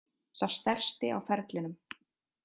Sá stærsti á ferlinum